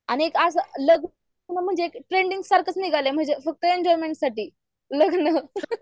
आणि एक आज लग्न म्हणजे ट्रेंडिग सारखंच निघालाय म्हणजे फक्त एन्जॉयमेंट साठी लग्न